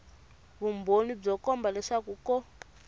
vumbhoni byo komba leswaku ko